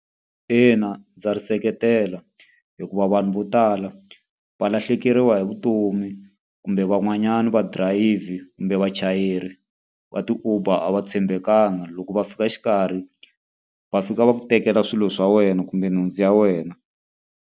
Ina ndza ri seketela. Hikuva vanhu vo tala va lahlekeriwa hi vutomi, kumbe van'wanyani va dirayivhi kumbe vachayeri va ti-Uber va tshembekanga. Loko va fika xikarhi va fika va ku tekela swilo swa wena kumbe nhundzu ya wena.